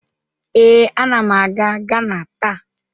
Ee, anam aga Gana taa.